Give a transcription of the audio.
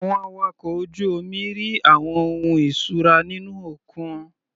Àwọn awakọ̀ ojú omi rí àwọn ohun ìṣura nínú òkun.